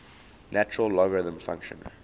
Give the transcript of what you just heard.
natural logarithm function